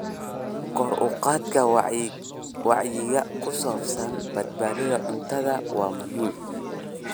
Kor u qaadista wacyiga ku saabsan badbaadada cuntada waa muhiim.